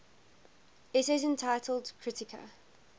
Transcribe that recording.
essays entitled kritika